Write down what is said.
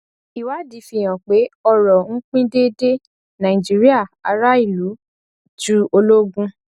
ìwádìí fi hàn pé ọrò ń pín déédéé nàìjíríà aráàlú ju ológun